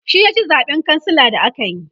shi ya ci zaɓen kansila da akayi